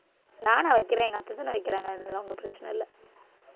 நானா வைக்கிறேன் எங்க அத்தைதானே வைக்கிறாங்க அதெல்லாம் ஒண்ணும் பிரச்சனை இல்லை